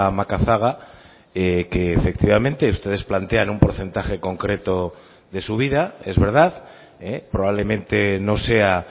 macazaga que efectivamente ustedes plantean un porcentaje concreto de subida es verdad probablemente no sea